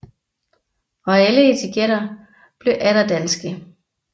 Og alle etiketter blev atter danske